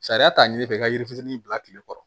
Sariya t'a ɲɛfɛ i ka yiri fitinin bila kile kɔrɔ